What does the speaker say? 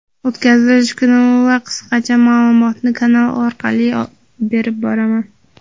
O‘tkazilish kuni va qisqacha ma’lumotni kanal orqali berib boraman.